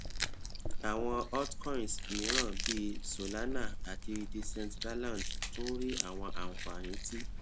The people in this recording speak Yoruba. awọn altcoins miiran bii solana ati decentraland tun ri awọn anfani ti